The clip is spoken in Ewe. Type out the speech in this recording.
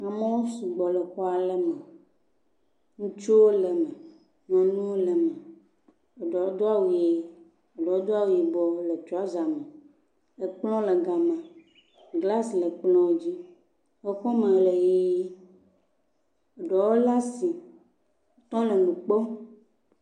Amewo sugbɔ le xɔa le me. Ŋutsuwo le me. Nyɔnuwo le me. Eɖewo do awu ʋee, eɖewo do awu yibɔ le trɔza me, Ekplɔ̃ le gama. Glasi le kplɔ̃ dzi. Exɔme le ʋee. Ɖewo laa si tɔ le nu kpɔ.